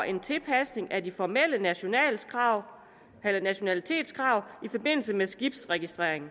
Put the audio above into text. en tilpasning af de formelle nationalitetskrav nationalitetskrav i forbindelse med skibsregistrering